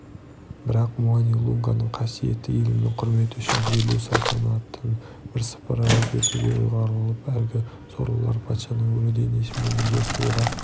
бірақ муани-лунганың қасиетті елімнің құрметі үшін жерлеу салтанатын бірсыпыра өзгертуге ұйғарылып әлгі сорлылар патшаның өлі денесімен бірге суға